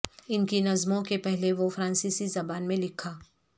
ان کی نظموں کے پہلے وہ فرانسیسی زبان میں لکھا